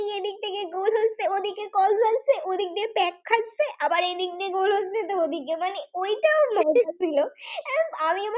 এই দিক দিয়ে গোল হচ্ছে গোল হচ্ছে তো আবার ওই দিক দিয়ে গোল হচ্ছে। ওই যে অনুভূতি ছিল আমি আমার